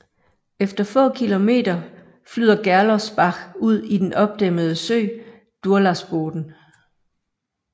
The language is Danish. Efter få kilometer flyder Gerlosbach ud i den opdæmmede sø Durlaßboden